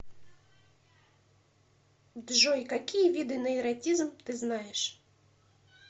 джой какие виды нейротизм ты знаешь